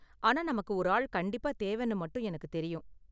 ஆனா, நமக்கு ஒரு ஆள் கண்டிப்பா தேவைனு மட்டும் எனக்கு தெரியும்.